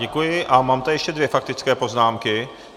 Děkuji a mám tady ještě dvě faktické poznámky.